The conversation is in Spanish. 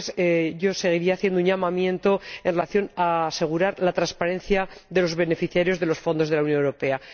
Después, yo seguiría haciendo un llamamiento para asegurar la transparencia de los beneficiarios de los fondos de la Unión Europea.